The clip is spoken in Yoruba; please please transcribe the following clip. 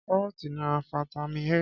Kárọ́tì ní fataímìn A.